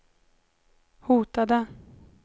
hotade